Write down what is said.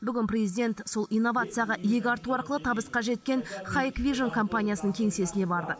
бүгін президент сол инновацияға иек арту арқылы табысқа жеткен никвижн компаниясының кеңсесіне барды